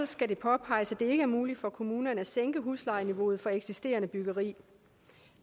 skal det påpeges at det ikke er muligt for kommunerne at sænke huslejeniveauet for eksisterende byggeri